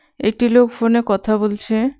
একটি লোক ফোনে কথা বলছে।